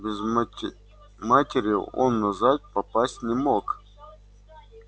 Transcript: без матери он назад попасть не мог